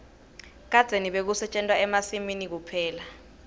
kadzeni bekusetjentwa emasimini kuphela